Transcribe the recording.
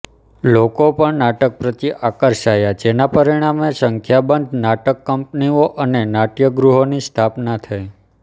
લોકો પણ નાટક પ્રત્યે આકર્ષાયા જેના પરિણામે સંખ્યાબંધ નાટકકંપનીઓ અને નાટ્યગૃહોની સ્થાપના થઈ